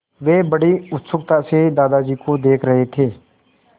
वे बड़ी उत्सुकता से दादाजी को देख रहे थे